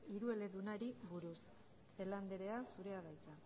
hirueledunari buruz